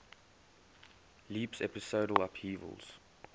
leaps episodal upheavals